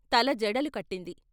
తల జడలు కట్టింది.